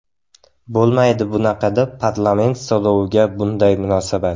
Bo‘lmaydi bunaqada parlament so‘roviga bunday munosabat.